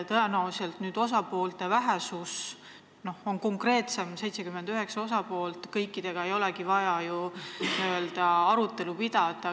Tõenäoliselt nüüd, kui osapooli on vähem, on olukord konkreetsem, on 79 osapoolt, kõikidega ei olegi vaja ju n-ö arutelu pidada.